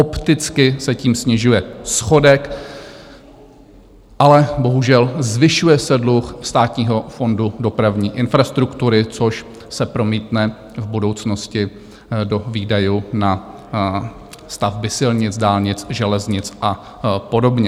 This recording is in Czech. Opticky se tím snižuje schodek, ale bohužel zvyšuje se dluh Státního fondu dopravní infrastruktury, což se promítne v budoucnosti do výdajů na stavby silnic, dálnic, železnic a podobně.